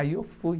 Aí eu fui.